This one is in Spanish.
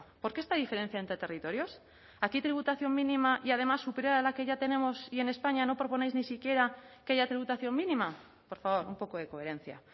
por qué esta diferencia entre territorios aquí tributación mínima y además superar a la que ya tenemos y en españa no proponéis ni siquiera que haya tributación mínima por favor un poco de coherencia